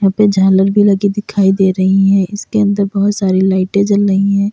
यहाँ पे झालर भी लगी दिखाई दे रही हैं इसके अंदर बोहोत सारी लाइटें जल रही हैं।